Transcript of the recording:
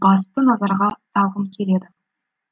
басты назарға салғым келеді